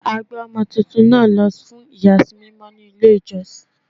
A gbé ọmọ tuntun náà lọ fún iyasi mímọ ní ilé ìjọsìn.